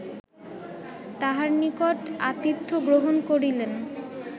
তাঁহার নিকট আতিথ্য গ্রহণ করিলেন